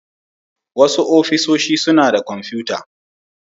Wasu ofishi suna da kwamfuta.